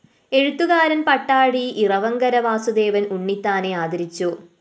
എഴുത്തുകാരന്‍ പട്ടാഴി ഇറവങ്കര വാസുദേവന്‍ ഉണ്ണിത്താനെ ആദരിച്ചു